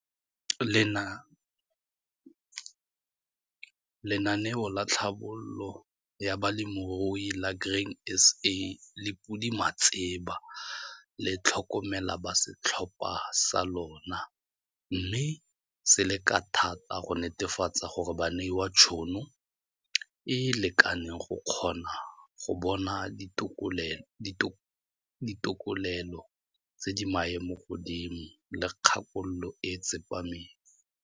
Lenaneo la Tlhabololo ya Balemirui la Grain SA le podimatseba, le tlhokomela ba setlhopha sa lona mme se leka thata go netefatsa gore ba neiwa tshono e e lekaneng go kgona go bona ditokelelo tse di maemo godimo le kgakololo e e tsepameng.